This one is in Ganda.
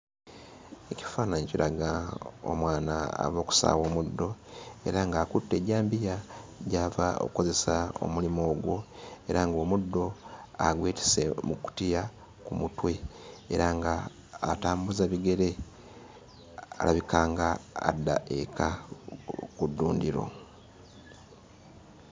Ekifaananyi kiraga omwana ava okusaawa omuddo era ng'akutte ejjambiya gy'ava okukozesa omulimu ogwo, era ng'omuddo agwetisse mu kkutiya ku mutwe era ng'atambuza bigere, alabika ng'adda eka ku ddundiro.